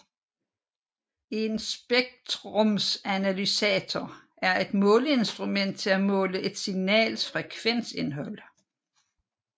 En spektrumanalysator er et måleinstrument til at måle et signals frekvensindhold